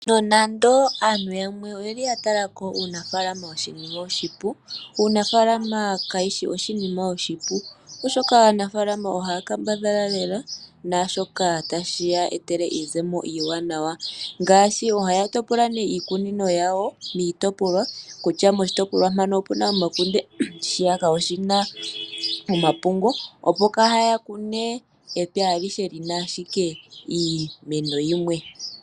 Nonande aantu yamwe oyeli yatalako uunafaalama oshinima oshipu, uunafaalama kawushi oshinima oshipu, oshoka aanafaalama ohaya kambadhala lela naashoka tashiya etele iizemo iiwanawa, ngaashi ohaya topola nee iikunino yawo miitipolwa, kutya moshitopolwa mpaka opuna omakunde shiyaka oshina omapungu. Opo kaya kune epya alihe lina ashike iimeno yimwe.